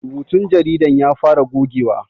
Rubutun jaridan ya fara gogewa